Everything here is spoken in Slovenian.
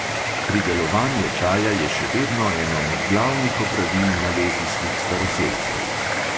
Pridelovanje čaja je še vedno eno od glavnih opravil malezijskih staroselcev.